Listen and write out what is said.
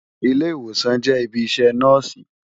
Ilé-Iwósán jè ibi iṣè Nòsi